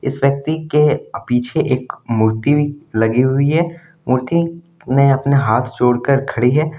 इस व्यक्ति के पीछे एक मूर्ति लगी हुई है मूर्ति ने अपने हाथ जोड़ कर खड़ी है।